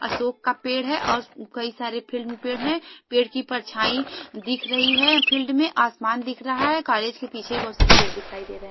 अशोक का पेड़ है और कई सारे फील्ड में पेड़ है पेड़ की परछाईया दिख रही है फील्ड में आसमान दिख रहा है कॉलेज के पीछे बहोत सारे पेड़ दिखाई दे रहे है।